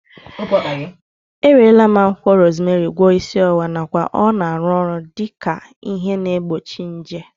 E werela akwụkwọ rozmerị gwọọ isi ọwụwa nakwa ọ na-arụ ọrụ dike ihe na-egbochi nje